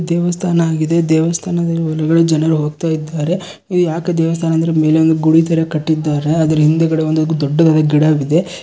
ದೇವಸ್ಥಾನ ಆಗಿದೆ ದೇವಸ್ಥಾನದ ಒಳಗಡೆ ಜನರು ಹೋಗುತ್ತಿದ್ದಾರೆ ಇಲ್ಲಿ ಯಾಕೆ ದೇವಸ್ಥಾನ ಅಂದರೆ ಮೇಲೆ ಒಂದು ಗುಡಿ ತರ ಕಟ್ಟಿದ್ದಾರೆ ಅದರ ಹಿಂದಗಡೆ ಒಂದು ದೊಡ್ಡದಾದ ಗಿಡವಿದೆ.